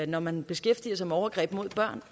når man beskæftiger sig med overgreb mod børn